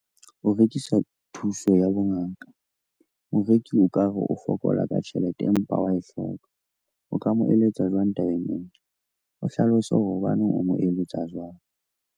O rekisa thuso ya bongaka, moreki o ka re o fokola ka tjhelete, empa wa e hloka. O ka mo eletsa jwang tabeng ena? O hlalose hore hobaneng o mo eletsa jwalo.